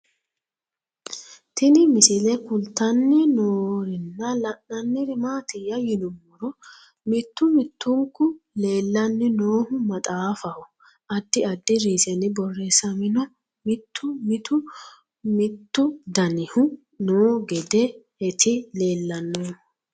Tinni misile kulittanni noorrinna la'nanniri maattiya yinummoro mittu mittunku leelanni noohu maxxaffaho addi addi riisenni borreessamminno mitu mitu mittu dannihu noo geedeetti leellanohu